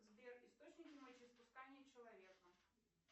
сбер источник мочеиспускания человека